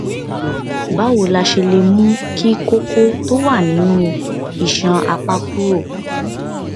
báwo la ṣe lè mú kí koko tó wà nínú isan apá kúrò